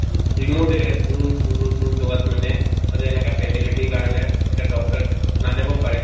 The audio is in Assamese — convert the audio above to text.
বহুত remote area দূৰ দূৰ দূৰ জগাত মানে সদায় এনেকা facility ৰ কাৰণে এটা doctor নাজাব পাৰে